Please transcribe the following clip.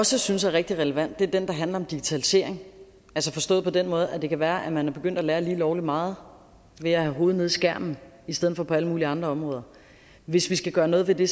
også synes er rigtig relevant er den der handler om digitalisering altså forstået på den måde at det kan være at man er begyndt at lære lige lovlig meget ved at have hovedet nede i skærmen i stedet for på alle mulige andre områder hvis vi skal gøre noget ved det